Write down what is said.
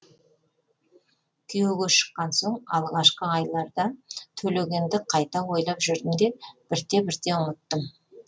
күйеуге шыққаннан соң алғашқы айларда төлегенді қайта ойлап жүрдім де бірте бірте ұмыттым